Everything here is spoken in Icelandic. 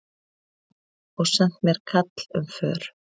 Og sent mér kall um för.